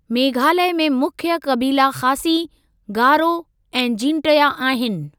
मेघालय में मुख्य क़बीला ख़ासी, गारो ऐं जींटया आहिनि।